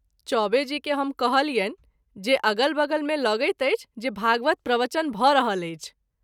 चौबे जी के हम कहलियनि जे अगल बगल मे लगैत अछि जे भागवत प्रवचन भ’ रहल अछि।